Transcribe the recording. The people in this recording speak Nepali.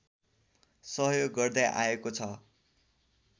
सहयोग गर्दै आएको छ